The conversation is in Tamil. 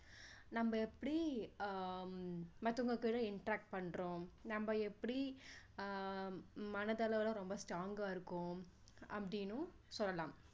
நம்ம எப்படி ஆஹ் மத்தவங்க கூட interact பண்றோம் நம்ம எப்படி அஹ் மனதளவுல ரொம்ப strong கா இருக்கோம் அப்படின்னு சொல்லலாம்